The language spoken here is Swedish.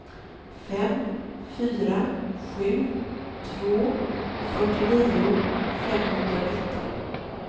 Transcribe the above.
fem fyra sju två fyrtionio femhundranitton